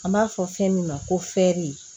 An b'a fɔ fɛn min ma ko fɛri